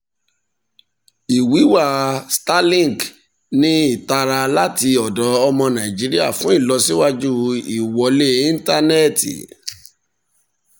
ìwíwá starlink ní ìtara láti ọ̀dọ̀ ọmọ nàìjíríà fún ìlọsíwájú ìwọlé ìntánẹ́ti.